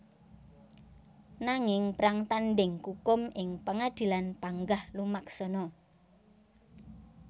Nanging prang tandhing kukum ing pangadilan panggah lumaksana